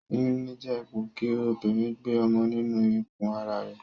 Oyún níní jé ipò kí obìrin gbe ọmọ nínu ikù ara rè